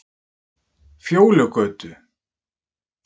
Fjólugötu